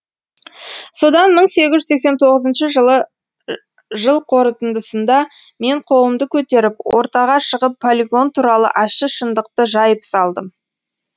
содан мың сегіз жүз сексен тоғызыншы жылы жыл қорытындысында мен қолымды көтеріп ортаға шығып полигон туралы ащы шындықты жайып салдым